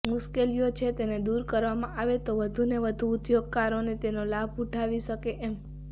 મુશ્કેલીઓ છે તેને દૂર કરવામાં આવે તો વધુને વધુ ઉદ્યોગકારો તેનો લાભ ઉઠાવી શકે એમ